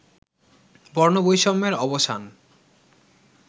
বর্ণবৈষম্যের অবসান